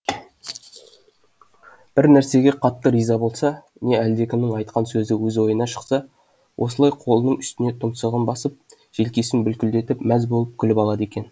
бір нәрсеге қатты риза болса не әлдекімнің айтқан сөзі өз ойынан шықса осылай қолының үстіне тұмсығын басып желкесін бүлкілдетіп мәз болып күліп алады екен